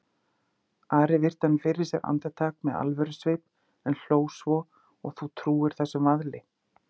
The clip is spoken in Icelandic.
Ari virti hann fyrir sér andartak með alvörusvip en hló svo,-og þú trúir þessum vaðli?